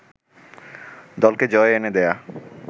দলকে জয় এনে দেয়া